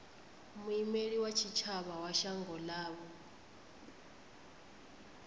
muimeli wa tshitshavha wa shango ḽavho